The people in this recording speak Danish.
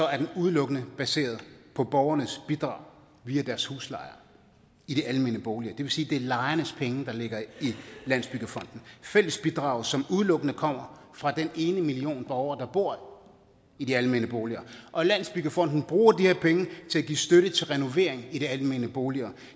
at den udelukkende er baseret på borgernes bidrag via deres huslejer i de almene boliger det vil sige at det er lejernes penge der ligger i landsbyggefonden fællesbidrag som udelukkende kommer fra den ene million borgere der bor i de almene boliger og landsbyggefonden bruger de her penge til at give støtte til renovering i de almene boliger